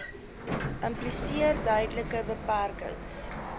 impliseer duidelike beperkings